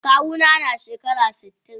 Kawu na na shekara sitin.